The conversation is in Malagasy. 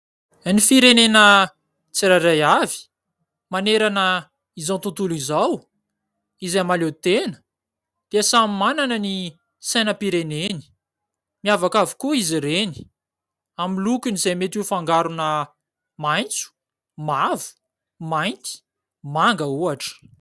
Ny firenena tsirairay avy manerana izao tontolo izao izay mahaleo tena dia samy manana ny sainam-pireneny. Miavaka avokoa izy ireny amin'ny lokony izay mety ho fangarona maitso, mavo, mainty, manga ohatra.